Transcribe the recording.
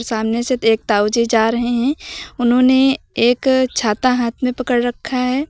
सामने से एक ताऊजी जा रहे हैं उन्होंने एक छाता हाथ में पकड़ रखा है।